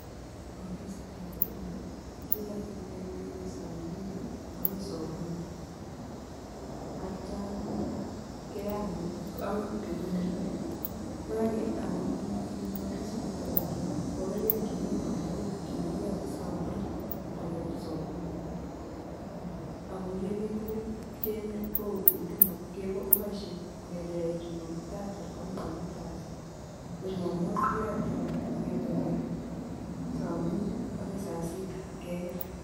Ofisitab huduma keyote kongetekei saa mbili ako saa kumi atya akoi betut ne rupei. Koyoke ak ofisinito bo huduma kokarkei eng emet komugul kele kiyate saa mbili ak kekeer saa kumi. Ko eng emet komugul ko Huduma kopoishei kongeteke jumatatu akoi komuut kasi, ko jumamos keyote kongetekei saa mbili akoi saa sita keker.